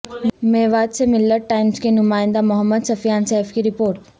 میوات سے ملت ٹائمز کے نمائندہ محمد سفیا ن سیف کی رپوٹ